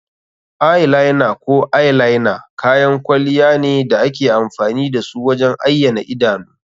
Eye liner ko eyeliner kayan kwalliya ne da ake amfani da su wajen ayyana idanu.